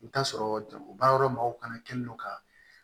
I bɛ t'a sɔrɔ baara yɔrɔ mɔgɔw kana kɛ n'o ka